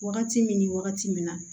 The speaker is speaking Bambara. Wagati min ni wagati min na